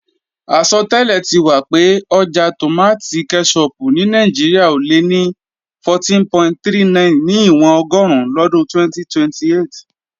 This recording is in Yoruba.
Àsọtẹ́lẹ̀ ti wà pé ọjà tòmátì kẹ́ṣọpù ní Nàìjíríà ò lé ní 14.39 níwọ̀n ọgọ́run lọ́dún 2028